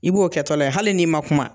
I b'o kɛtɔla ye hali n'i ma kuma.